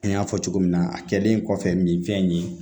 An y'a fɔ cogo min na a kɛlen kɔfɛ min fɛn nin ye